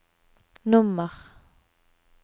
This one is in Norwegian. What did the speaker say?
nummer